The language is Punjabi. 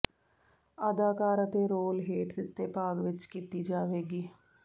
ਅਦਾਕਾਰ ਅਤੇ ਰੋਲ ਹੇਠ ਦਿੱਤੇ ਭਾਗ ਵਿੱਚ ਕੀਤੀ ਜਾਵੇਗੀ